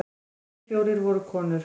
Hinir fjórir voru konur.